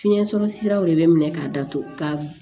Fiɲɛ sɔrɔ siraw de bɛ minɛ k'a datugu ka